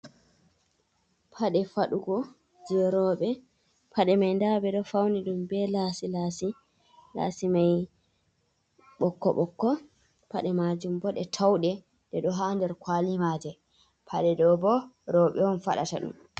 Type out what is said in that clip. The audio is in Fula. Paɗe faɗugo je roɓe paɗe mai nda ɓe ɗo fauni ɗum be lasi lasi lasi mai ɓokko ɓokko paɗe majum bo ɗe touɗe de ɗo ha nder kwali maje paɗe ɗo bo roɓe on faɗata ɗum.